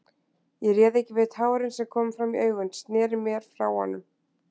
Ég réð ekki við tárin sem komu fram í augun, sneri mér frá honum.